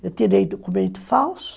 Eu terei documento falso.